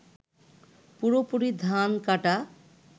পুরোপুরি ধান কাটা